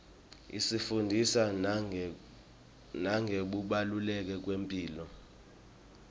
isifundzisa nangekubaluleka kwemphilo